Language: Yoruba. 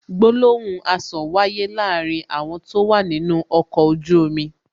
Gbólóhùn asọ̀ wáyé láàárín àwọn tó wà nínú ọkọ̀ ojú omi